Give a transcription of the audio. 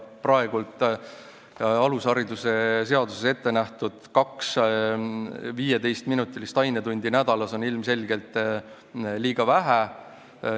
Praegu alushariduse seaduses ettenähtud kaks 15-minutilist ainetundi nädalas on ilmselgelt liiga vähe.